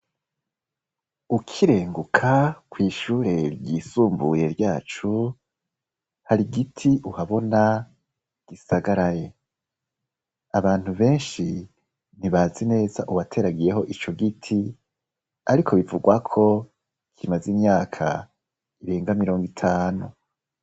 Ukirenguka kw' ishure ryisumbuye ryacu, hari igiti uhabona gisagaraye. Abantu benshi ntibazi neza uwateragiyeho ico giti, ariko bivugwa ko kimaze imyaka irenga mirongo itanu.